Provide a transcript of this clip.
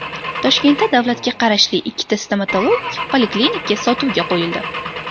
Toshkentda davlatga qarashli ikkita stomatologik poliklinika sotuvga qo‘yildi.